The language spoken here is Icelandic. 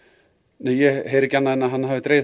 ég heyri ekki annað en að hann hafi dregið